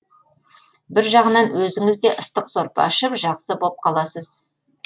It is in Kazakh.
бір жағынан өзіңіз де ыстық сорпа ішіп жақсы боп қаласыз